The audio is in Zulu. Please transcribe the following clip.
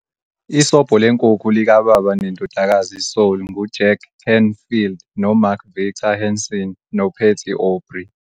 Isobho Lenkukhu likaBaba neNdodakazi Soul nguJack Canfield noMark Victor Hansen noPatty Aubery.